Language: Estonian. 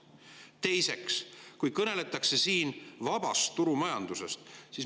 Teiseks, siin kõneldakse vabast turumajandusest.